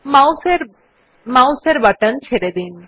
mouse এর button ছেড়ে দিন